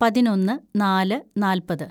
പതിനൊന്ന് നാല് നാല്‍പത്‌